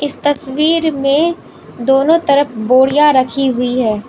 इस तस्वीर में दोनों तरफ बोरियां रखी हुई है।